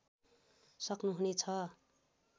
सक्नु हुने छ